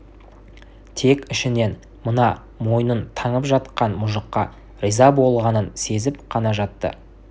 тек ішінен мына мойнын таңып жатқан мұжыққа риза болғанын сезіп қана жатты